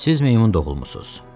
Siz meymun doğulmusuz.